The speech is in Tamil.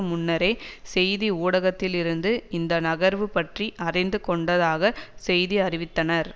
முன்னரே செய்தி ஊடகத்திலிருந்து இந்த நகர்வு பற்றி அறிந்து கொண்டதாக செய்தி அறிவித்தனர்